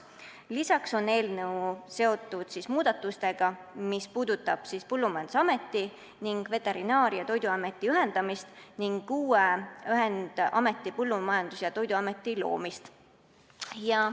Lisaks on eelnõu seotud muudatustega, mis puudutavad Põllumajandusameti ning Veterinaar- ja Toiduameti ühendamist, samuti uue ühendameti, Põllumajandus- ja Toiduameti loomist.